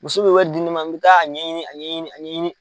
Muso bɛ wɛ di ne ma n bɛ taa a ɲɛɲini a ɲɛɲini a ɲɛɲini.